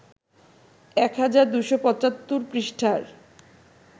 ১ হাজার ২৭৫ পৃষ্ঠার